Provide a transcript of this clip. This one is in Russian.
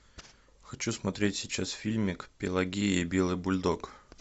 хочу смотреть сейчас фильмик пелагея и белый бульдог